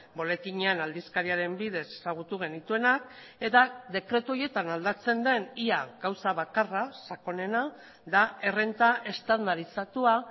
boletinean aldizkariaren bidez ezagutu genituenak eta dekretu horietan aldatzen den ia gauza bakarra sakonena da errenta estandarizatua